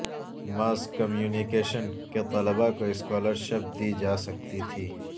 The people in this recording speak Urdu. ماس کمیونکیشن کے طلبا کو اسکالرشپ دی جاسکتی تھی